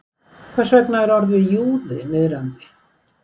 Hvers vegna er orðið júði niðrandi?